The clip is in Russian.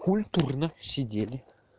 культурно сидели